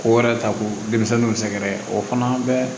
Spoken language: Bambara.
Ko wɛrɛ ta ko denmisɛnninw sɛgɛrɛ o fana bɛɛ